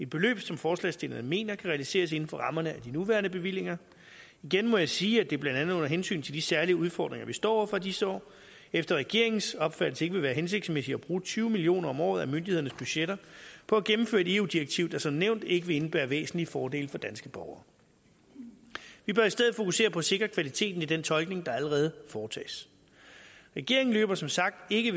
beløb som forslagsstillerne mener kan realiseres inden for rammerne af de nuværende bevillinger igen må jeg sige at det blandt andet under hensyn til de særlige udfordringer vi står over for i disse år efter regeringens opfattelse ikke vil være hensigtsmæssigt at bruge tyve million kroner om året af myndighedernes budgetter på at gennemføre et eu direktiv der som nævnt ikke vil indebære væsentlige fordele for danske borgere vi bør i stedet fokusere på at sikre kvaliteten af den tolkning der allerede foretages regeringen løber som sagt ikke